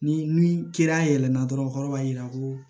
Ni ni ya yɛlɛ na dɔrɔn kɔrɔ b'a yira ko